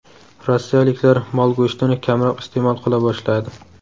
Rossiyaliklar mol go‘shtini kamroq iste’mol qila boshladi.